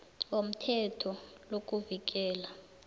womthetho lo kuvikela